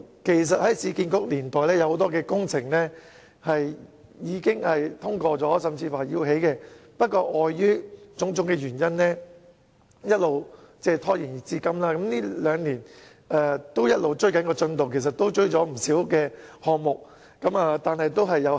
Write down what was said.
其實，在市區重建局年代，有很多工程已獲通過興建，不過礙於種種原因，一直拖延至今，近兩年一直在追趕進度，雖然已追回不少項目，但數目仍然有限。